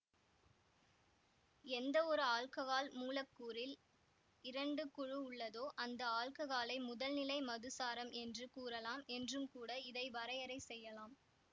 எந்தவொரு ஆல்ககால் மூலக்கூறில் இரண்டு குழு உள்ளதோ அந்த ஆல்ககாலை முதல்நிலை மதுசாரம் என்று கூறலாம் என்றும்கூட இதை வரையறை செய்யலாம்